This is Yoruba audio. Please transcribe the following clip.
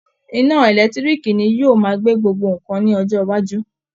Iná ẹ̀lẹ́tiíríìkì ni yóò máa gbé gbogbo nǹkan ní ọjọ́ iwájú